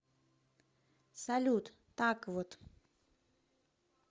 салют так вот